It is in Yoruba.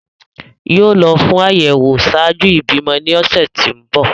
Yoo lọ fun ayẹwo ṣạaju ibimọ ni ọsẹ ti ǹ bọ.